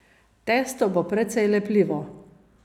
Testo bo precej lepljivo.